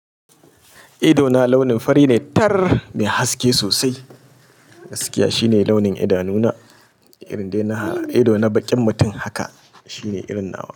Idona launin fari ne tar mai haske sosai. Gaskiya shine launin idanuna, irin dai na ido na baƙin mutum haka shine irin nawa.